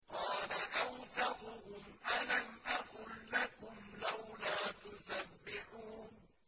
قَالَ أَوْسَطُهُمْ أَلَمْ أَقُل لَّكُمْ لَوْلَا تُسَبِّحُونَ